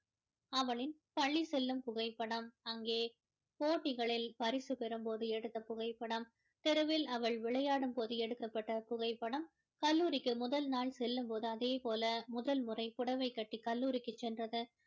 அவளின் பள்ளி செல்லும் புகைப்படம் அங்கே போட்டிகளில் பரிசு பெறும் போது எடுத்த புகைப்படம் தெருவில் அவள் விளையாடும் போது எடுக்கப்பட்ட புகைப்படம் கல்லூரிக்கு முதல் நாள் செல்லும் போது அதேபோல முதல் முறை புடவை கட்டி கல்லூரிக்கு சென்றது